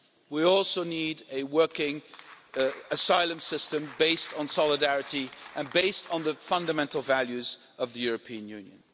We also need a working asylum system based on solidarity and the fundamental values of the European Union.